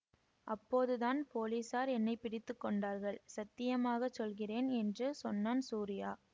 அப்போதுதான் போலீஸார் என்னை பிடித்து கொண்டார்கள் சத்தியமாகச் சொல்கிறேன் என்று சொன்னான் சூரியா